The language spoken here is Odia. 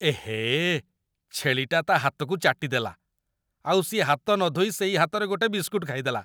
ଏହେ! ଛେଳିଟା ତା' ହାତକୁ ଚାଟିଦେଲା, ଆଉ ସିଏ ହାତ ନ ଧୋଇ ସେଇ ହାତରେ ଗୋଟେ ବିସ୍କୁଟ୍ ଖାଇଦେଲା ।